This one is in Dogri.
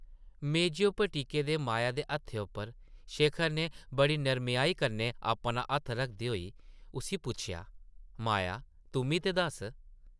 मेजै उप्पर टिके दे माया दे हत्थै उप्पर शेखर नै बड़ी नरमेआई कन्नै अपना हत्थ रखदे होई उस्सी पुच्छेआ, माया तुʼम्मी ते दस्स ।